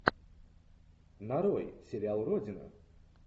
нарой сериал родина